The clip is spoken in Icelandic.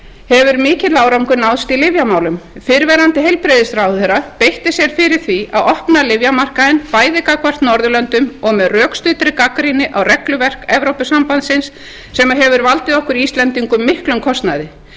hefur mikill árangur náðst í lyfjamálum fyrrverandi heilbrigðisráðherra beitti sér fyrir því að opna lyfjamarkaðinn bæði gagnvart norðurlöndum og með rökstuddri gagnrýni á regluverk evrópusambandsins sem hefur valdið okkur íslendingum miklum kostnaði